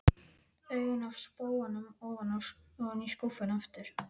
Augun af spóanum ofan í skúffuna aftur.